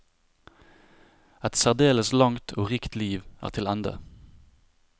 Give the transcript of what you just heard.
Et særdeles langt og rikt liv er til ende.